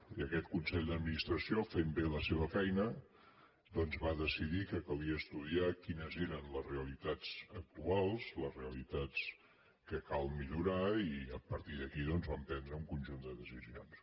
i aquest consell d’administració fent bé la seva feina doncs va decidir que calia estudiar quines eren les re·alitats actuals les realitats que cal millorar i a partir d’aquí doncs van prendre un conjunt de decisions